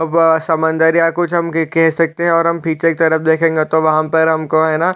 व समुन्दर या कुछ हमको कह सकते है और हम पीछे की तरफ देखेंगे तो वहाँ पर हमको है न --